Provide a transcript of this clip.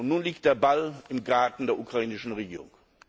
tun nun liegt der Ball im Garten der ukrainischen Regierung.